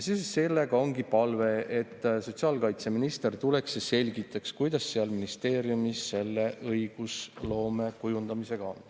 Seoses sellega ongi palve, et sotsiaalkaitseminister tuleks ja selgitaks, kuidas seal ministeeriumis õigusloome kujundamisega on.